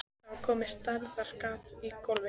Það var komið stærðar gat í gólfið.